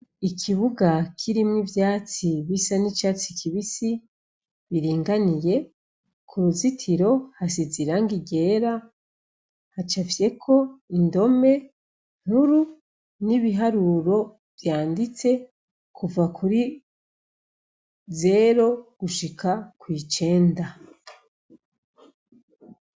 Ikibuga kirimwo ivyatsi bisa n'icatsi kibisi biringaniye, ku ruzitiro hasize irangi ryera, hacafyeko indome nkuru n'ibiharuro vyanditse kuva kuri zero gushika kw'icenda.